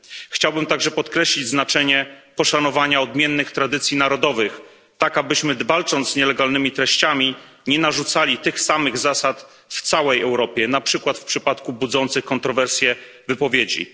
Chciałbym także podkreślić znaczenie poszanowania odmiennych tradycji narodowych, tak abyśmy walcząc z nielegalnymi treściami, nie narzucali tych samych zasad w całej Europie, na przykład w przypadku budzących kontrowersje wypowiedzi.